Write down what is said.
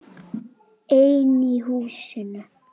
Einn í húsinu.